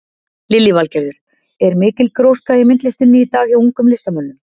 Lillý Valgerður: Er mikil gróska í myndlistinni í dag hjá ungum listamönnum?